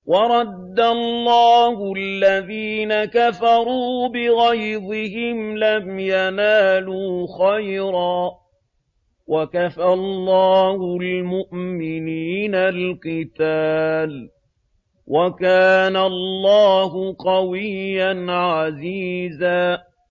وَرَدَّ اللَّهُ الَّذِينَ كَفَرُوا بِغَيْظِهِمْ لَمْ يَنَالُوا خَيْرًا ۚ وَكَفَى اللَّهُ الْمُؤْمِنِينَ الْقِتَالَ ۚ وَكَانَ اللَّهُ قَوِيًّا عَزِيزًا